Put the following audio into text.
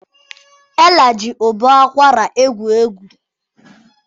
Ella ji ụbọ akwara egwuri egwu.